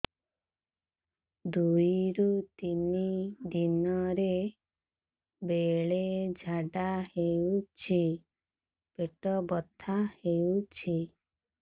ଦୁଇରୁ ତିନି ଦିନରେ ବେଳେ ଝାଡ଼ା ହେଉଛି ପେଟ ବଥା ହେଉଛି